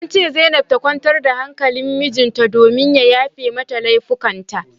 An ce zainab ta kwantar da hankalin mijinta domin ya yafe mata laifukan ta